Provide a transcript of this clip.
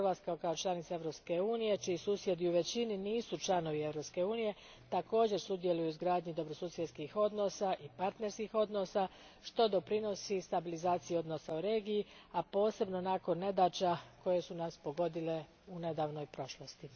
Hrvatska kao članica Europske unije, čiji susjedi u većini nisu članovi Europske unije, također sudjeluje u izgradnji dobrosusjedskih odnosa i partnerskih odnosa, što doprinosi stabilizaciji odnosa u regiji, a posebno nakon nedaća koje su nas pogodile u nedavnoj prošlosti.